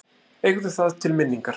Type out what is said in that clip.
Eigðu það til minningar.